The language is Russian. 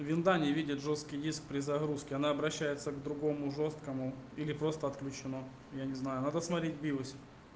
винда не видит жёсткий диск при загрузке она обращается к другому жёсткому или просто отключено я не знаю надо смотреть в биосе